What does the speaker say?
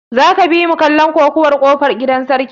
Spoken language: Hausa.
Za ka bimu kallon kokuwar kofar gidan sarki?